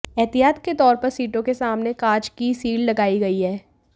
एहतियात के तौर पर सीटों के सामने कांच की सील्ड लगाई गई हैं